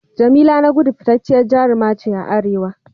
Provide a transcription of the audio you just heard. Jamila Nagudu fitacciyar jaruma ce a Arewa.